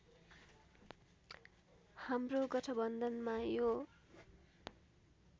हाम्रो गठबन्धनमा यो